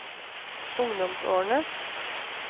ungdomsårene